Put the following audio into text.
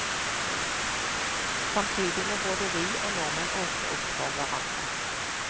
Samtidig må både vi og nordmenn åpne opp for hverandre.